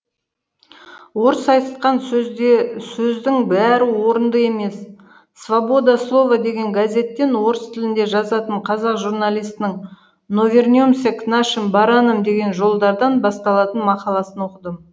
орыс аи тқан сөздің бәрі орынды емес свобода слова деген газеттен орыс тілінде жазатын қазақжурналисінің но вернемся к нашим баранам деген жолдардан басталатын мақаласын оқыдым